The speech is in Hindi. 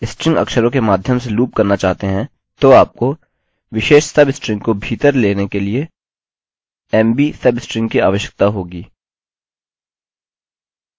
यदि आप एक for लूप का इस्तेमाल करके स्ट्रिंग अक्षरों के माध्यम से लूप करना चाहते हैं तो आपको विशेष सबस्ट्रिंग को भीतर लेने के लिए mb सबस्ट्रिंग की आवश्यकता होगी